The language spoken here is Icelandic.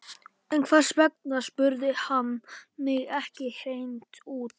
En hvers vegna spurði hann mig ekki hreint út?